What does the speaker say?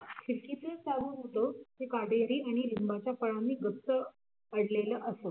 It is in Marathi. खिडकीलगतच होता ते काटेरी आणि लिंबाच्या फळांनी गच्च पडलेल असं